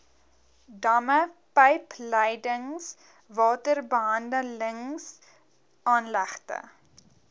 damme pypleidings waterbehandelingsaanlegte